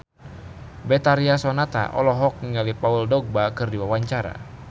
Betharia Sonata olohok ningali Paul Dogba keur diwawancara